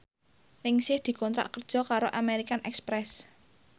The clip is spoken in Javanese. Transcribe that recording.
Ningsih dikontrak kerja karo American Express